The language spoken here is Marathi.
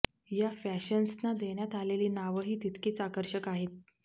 या फॅशन्सना देण्यात आलेली नावंही तितकीच आकर्षक आहेत